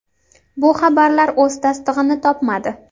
Bu xabarlar o‘z tasdig‘ini topmadi.